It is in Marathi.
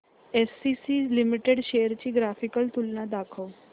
एसीसी लिमिटेड शेअर्स ची ग्राफिकल तुलना दाखव